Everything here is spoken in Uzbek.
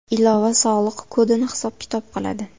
Ilova sog‘liq kodini hisob-kitob qiladi.